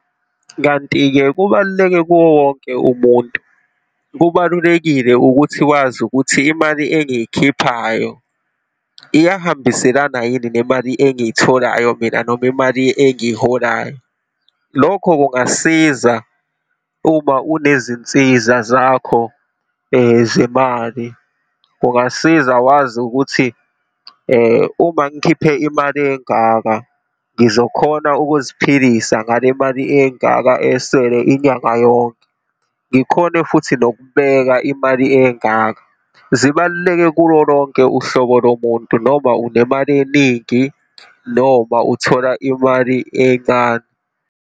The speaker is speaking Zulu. Kanti-ke kubaluleke kuwo wonke umuntu. Kubalulekile ukuthi wazi ukuthi imali engiyikhiphayo iyahambiselana yini nemali engiyitholayo mina, noma imali engiyiholayo. Lokho kungasiza uma unezinsiza zakho zemali, kungasiza wazi ukuthi uma ngikhiphe imali engaka, ngizokhona ukuziphilisa ngale mali engaka esele inyanga yonke, ngikhone futhi nokubeka imali engaka. Zibaluleke kulo lonke uhlobo lomuntu, noma unemali eningi noma uthola imali encane.